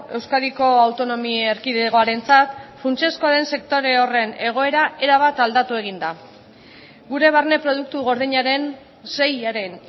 euskadiko autonomi erkidegoarentzat funtsezkoa den sektore horren egoera erabat aldatu egin da gure barne produktu gordinaren seiaren